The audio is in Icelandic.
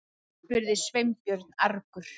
spurði Sveinbjörn argur.